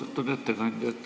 Austatud ettekandja!